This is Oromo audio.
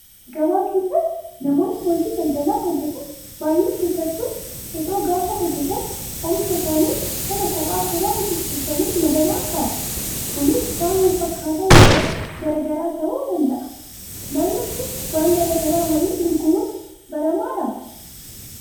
Gabaa keessatti namoonni hojii daldalaa hojjatan baay'een keessattuu qexoo gaafa hojjatan oomisha isaanii sana kopha kophaa xixiqqeessanii madabaan kaa'u. Kunis waan wal fakkaataa yookaan garaagaraa ta'uu danda'a. Naannoo keetti waan garaagaraa waliin gurguruun baramaadhaa?